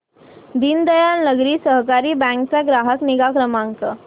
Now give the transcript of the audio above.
दीनदयाल नागरी सहकारी बँक चा ग्राहक निगा क्रमांक